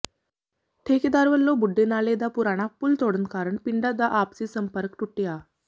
ਠੇਕੇਦਾਰ ਵੱਲੋਂ ਬੁੱਢੇ ਨਾਲੇ ਦਾ ਪੁਰਾਣਾ ਪੁਲ ਤੋੜਨ ਕਾਰਨ ਪਿੰਡਾਂ ਦਾ ਆਪਸੀ ਸੰਪਰਕ ਟੁੱਟਿਆ